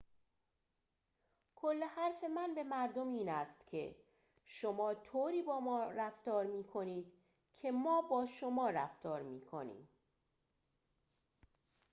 کل حرف من به مردم این است که شما طوری با ما رفتار می‌کنید که ما با شما رفتار می‌کنیم